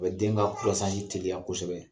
O bɛ den ka teliya kosɛbɛ!